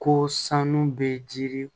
Ko sanu bɛ jiri